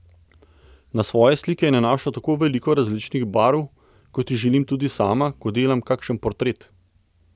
Na svoje slike je nanašal tako veliko različnih barv, kot jih želim tudi sama, ko delam kakšen portret.